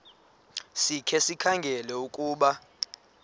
sikhe sikhangele ukuba